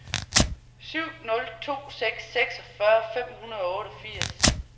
syv nul to seks seksogfyrre fem hundrede og otteogfirs